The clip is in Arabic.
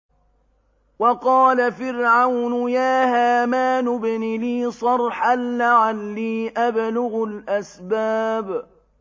وَقَالَ فِرْعَوْنُ يَا هَامَانُ ابْنِ لِي صَرْحًا لَّعَلِّي أَبْلُغُ الْأَسْبَابَ